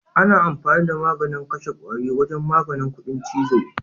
Ana amfani da maganin kashe kwari wajen maganin kuɗin chizo.